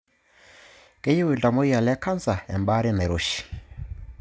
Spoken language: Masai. Keyieu iltamuoyia le kansa embaare nairoshi